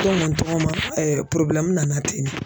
tɔgɔma nana ten de.